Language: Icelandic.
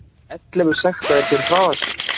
Ellefu sektaðir fyrir hraðakstur